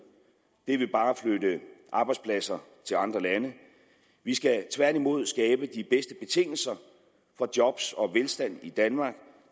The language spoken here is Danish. det vil bare flytte arbejdspladser til andre lande vi skal tværtimod skabe de bedste betingelser for job og velstand i danmark